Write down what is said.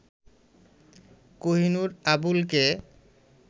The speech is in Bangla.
কোহিনূর আবুলকে